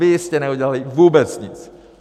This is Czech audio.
Vy jste neudělali vůbec nic!